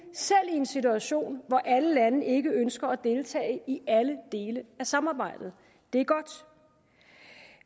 en situation hvor alle lande ikke ønsker at deltage i alle dele af samarbejdet det er godt